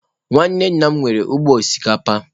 Nwanne nna m nwere ugbo osikapa.